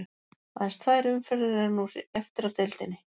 Aðeins tvær umferðir eru nú eftir af deildinni.